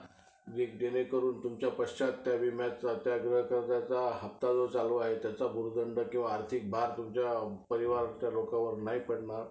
अह बघा आता मी realmephone वापरत आहे. ठीक है. सुरुवातीला तर जसा काई आढळल नाही. पण आता memory वगरे आहे. त्याची जास्त full होत आहे ना memory वगरे